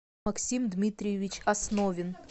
максим дмитриевич основин